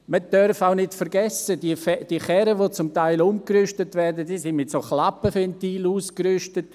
Man darf auch nicht vergessen, diese Karren, die zum Teil umgerüstet werden, sind mit Klappenventilen ausgerüstet.